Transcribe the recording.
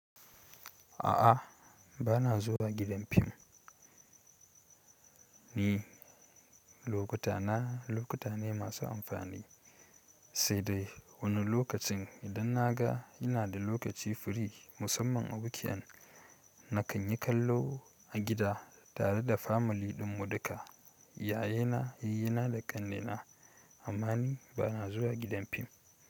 A'a, ba na zuwa gidan fim. Ni, lokuta na lokuta ne masu amfani, sai dai wani lokacin idan na ga ina da lokaci firi musamman a weekend, na kan yi kallo a gida tare da family ɗinmu duka, yayena, yayyena da ƙannena. Amma ni ba na zuwa gidan fim.